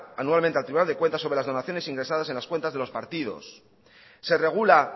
anualmente al tribunal de cuentas sobre las donaciones ingresadas en las cuentas de los partidos se regula